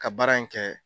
Ka baara in kɛ